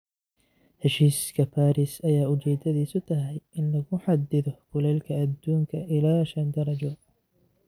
Heshiiska Paris ayaa ujeedadiisu tahay in lagu xaddido kulaylka adduunka ilaa shan darajo